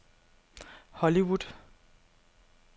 Hollywood